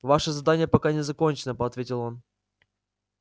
ваше задание пока не закончено по ответил он